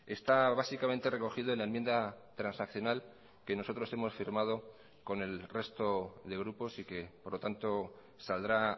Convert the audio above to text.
está básicamente recogido en la enmienda transaccional que nosotros hemos firmado con el resto de grupos y que por lo tanto saldrá